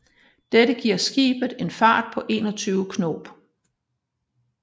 Dette giver skibet en fart på 21 knob